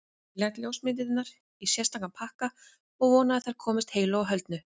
Ég læt ljósmyndirnar í sérstakan pakka og vona að þær komist heilu og höldnu.